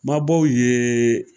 Mabɔw ye